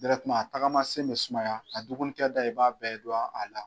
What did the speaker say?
a tagamasen bɛ sumaya a dugunikɛda i b'a bɛɛ dɔn a la.